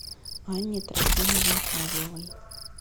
анне трофимовне павловой